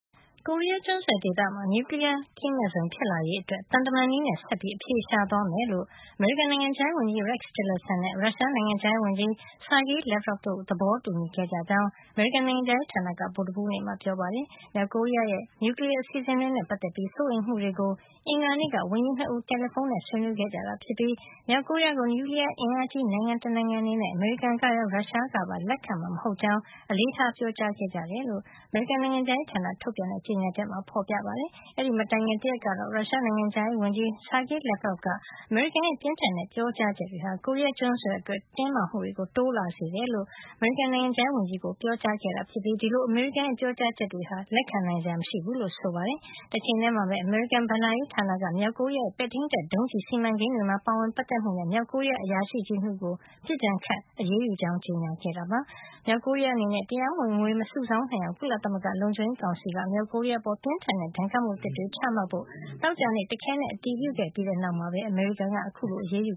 ကိုရီးယားကျွန်းဆွယ်ဒေသမှာ နျူကလီယား မဲ့ဇုံ ဖြစ်လာစေရေးအတွက် သံတမန်နည်းနဲ့ ဆက်ပြီး အဖြေရှာသွားမယ်လို့ အမေရိကန် နိုင်ငံခြားရေး ဝန်ကြီး Rex Tillerson နဲ့ ရုရှား နိုင်ငံခြားရေးဝန်ကြီး Sergei Lavrov တို့ သဘောတူညီခဲ့ကြတယ်လို့ အမေရိကန် နိုင်ငံခြားရေး ဌာနက ဗုူဒ္ဓဟူးနေ့မှာ ပြောပါတယ်။ မြောက်ကိုရီးယား ရဲ့ နျူကလီယား အစီစဉ်တွေ နဲ့ ပတ်သက်ပြီး စိုးရိမ်မှုတွေကို အင်္ဂါနေ့က ဝန်ကြီး ၂ ဦး တယ်လီဖုံးနဲ့ ဆွေးနွေးခဲ့ကြပြီး မြောက်ကိုရီးယား ကို နျူကလီယားအင်အားကြီး နိုင်ငံ တနိုင်ငံအနေနဲ့ အမေရိကန်ကရော ရုရှားကပါ လက်ခံမှာ မဟုတ်ကြောင်း အလေးထား ပြောကြားခဲ့ကြတယ်လို့ အမေရိကန် နိုင်ငံခြားရေး ဌာနက ထုတ်ပြန်တဲ့ ကြေညာချက်မှာ ဖေါ်ပြထားပါတယ်။ အဲဒီမတိုင်ခင် တရက်ကတော့ ရုရှား နိုင်ငံခြားရေးဝန်ကြီး Sergei Lavrov က အမေရိကန်ရဲ့ ပြင်းထန်တဲ့ ပြောကြားချက်တွေဟာ ကိုရီးယား ကျွန်းဆွယ် အတွက် တင်းမာမှုတွေ တိုးလာစေတယ်လို့ အမေရိကန် နိုင်ငံခြားရေး ဝန်ကြီး ကို ပြောကြားခဲ့တာ ဖြစ်ပြီး ဒီလို အမေရိကန်ရဲ ပြောကြားချက်တွေဟာ လက်ခံနိုင်စရာ မရှိဘူးလို့ ဆိုပါတယ်။ တချိန်ထဲမှာပဲ အမေရိကန် ဘဏ္ဍာရေး ဌာနက မြောက်ကိုရီးယား ရဲ့ ပဲ့ထိမ်းတပ် ဒုံးကျည် စီမံကိန်းတွေမှာ ပါဝင်ပတ်သက်မှုနဲ့ မြောက်ကိုရီးယား အရာရှိကြီး ၂ ဦးကို ပစ်ဒဏ်ခတ် အရေးယူကြောင်း ကြေညာခဲ့ပါတယ်။ မြောက်ကိုရီးယား အနေနဲ့ တရားမဝင် ငွေမစုဆောင်း နိုင်အောင် ကုလသမဂ္ဂ လုံခြုံရေးကောင်စီက မြောက်ကိုရီးယား အပေါ် ပြင်းထန်တဲ့ ဒဏ်ခတ်မှု အသစ်တွေ ချမှတ်ဖို့ သောကြာနေ့မှာ တခဲနက် အတည်ပြုခဲ့ပြီးတဲ့နောက် အမေရိကန်က အခုလို အရေးယူ